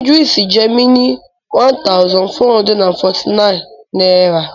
Idris owes me one thousand four hundred and forty-nine Naira